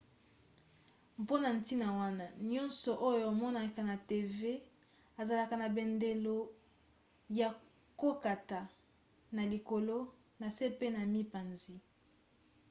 mpona ntina wana nyonso oyo omonaka na tv ezalaka na bandelo ya kokata na likolo na se pe na mipanzi